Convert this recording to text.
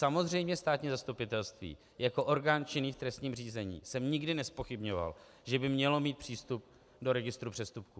Samozřejmě státní zastupitelství jako orgán činný v trestním řízení jsem nikdy nezpochybňoval, že by mělo mít přístup do registru přestupků.